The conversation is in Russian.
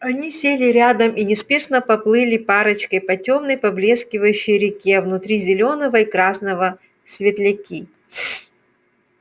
они сели рядом и неспешно поплыли парочкой по тёмной поблескивающей реке внутри зелёного и красного светляки